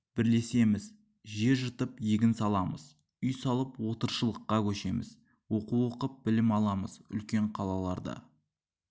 бірлесеміз жер жыртып егін саламыз үй салып отырықшылыққа көшеміз оқу оқып білім аламыз үлкен қалаларда